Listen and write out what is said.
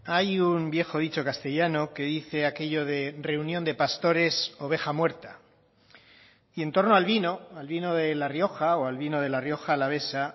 hay un viejo dicho castellano que dice aquello de reunión de pastores oveja muerta y en torno al vino al vino de la rioja o al vino de la rioja alavesa